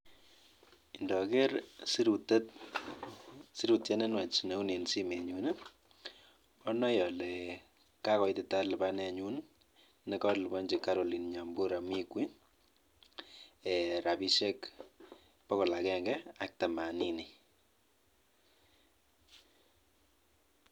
Nyone nee meting'ung' iniker ni?